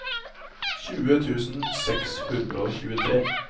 tjue tusen seks hundre og tjuetre